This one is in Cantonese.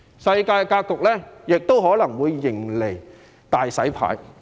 世界格局亦可能會迎來"大洗牌"。